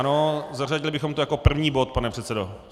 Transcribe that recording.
Ano, zařadili bychom to jako první bod, pane předsedo.